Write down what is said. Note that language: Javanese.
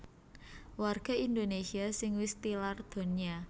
Warga Indonésia sing wis tilar donya